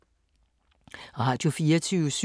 Radio24syv